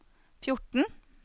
fjorten